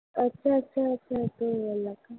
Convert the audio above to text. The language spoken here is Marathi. अच्छा! अच्छा! अच्छा! अच्छा!